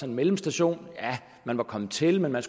en mellemstation man var kommet til men man